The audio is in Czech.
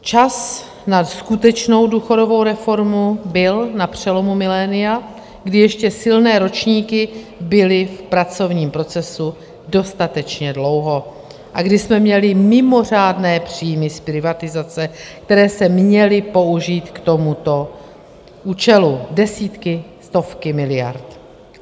Čas na skutečnou důchodovou reformu byl na přelomu milénia, kdy ještě silné ročníky byly v pracovním procesu dostatečně dlouho a kdy jsme měli mimořádné příjmy z privatizace, které se měly použít k tomuto účelu, desítky, stovky miliard.